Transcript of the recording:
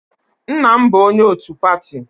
Nna m bụ onye otu pati.